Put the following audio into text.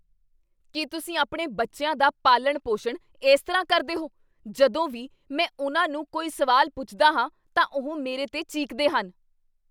ਕੀ ਤੁਸੀਂ ਆਪਣੇ ਬੱਚਿਆਂ ਦਾ ਪਾਲਣ ਪੋਸ਼ਣ ਇਸ ਤਰ੍ਹਾਂ ਕਰਦੇ ਹੋ? ਜਦੋਂ ਵੀ ਮੈਂ ਉਨ੍ਹਾਂ ਨੂੰ ਕੋਈ ਸਵਾਲ ਪੁੱਛਦਾ ਹਾਂ ਤਾਂ ਉਹ ਮੇਰੇ 'ਤੇ ਚੀਕਦੇ ਹਨ